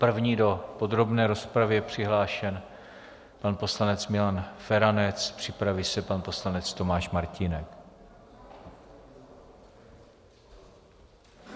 První do podrobné rozpravy je přihlášen pan poslanec Milan Feranec, připraví se pan poslanec Tomáš Martínek.